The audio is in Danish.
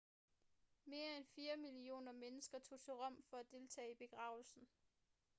mere end fire millioner mennesker tog til rom for at deltage i begravelsen